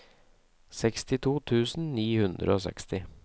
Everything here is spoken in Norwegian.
sekstito tusen ni hundre og seksti